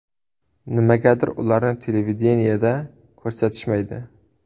Nimagadir ularni televideniyeda ko‘rsatishmaydi?